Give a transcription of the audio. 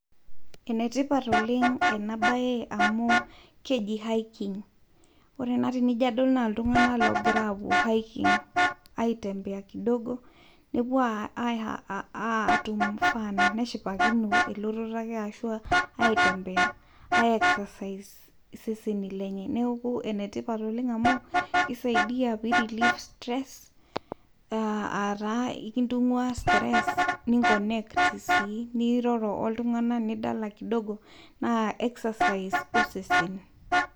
Ene tipat oleng ena bae amu keji hiking wore ena naa enijo adol naa iltunganak ogira aas hiking aitembea kidogo nepuo atum fun neshipakino elototo aitembea aiexercise iseseni lenye neaku ene tipat oleng' kisaidia pirelieve stress ataa ekintungúaa stress niconnect sii niroro oltunganak nidala kidogo naa exercise osesen